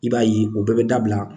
I b'a ye o bɛɛ bɛ dabila